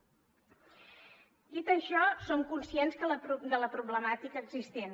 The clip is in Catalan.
dit això som conscients de la problemàtica existent